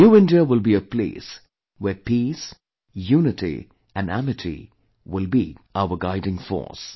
New India will be a place where peace, unity and amity will be our guiding force